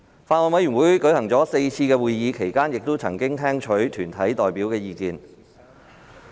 法案委員會舉行了4次會議，其間曾聽取團體代表的意見。